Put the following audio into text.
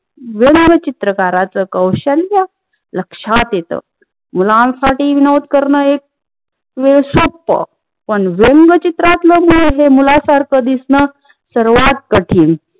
व्यंग्य चित्रकाराच कौशल्य लक्षात येत. मुलांसाठी विनोद करण एक पण व्यंग्य चीत्रात्न हे मुलासारखं दिसन सर्वात कठीण